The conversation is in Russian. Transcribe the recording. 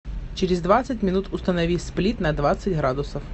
через двадцать минут установи сплит на двадцать градусов